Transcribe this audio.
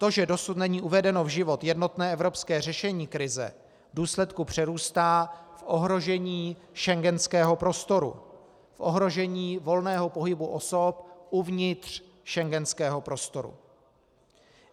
To, že dosud není uvedeno v život jednotné evropské řešení krize, v důsledku přerůstá v ohrožení schengenského prostoru, v ohrožení volného pohybu osob uvnitř schengenského prostoru.